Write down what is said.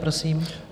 Prosím.